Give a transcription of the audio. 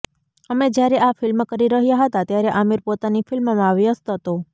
અમે જ્યારે આ ફિલ્મ કરી રહ્યા હતા ત્યારે આમિર પોતાની ફિલ્મમાં વ્યસ્ત હતો